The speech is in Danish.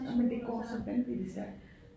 Jamen det går så vanvittigt stærkt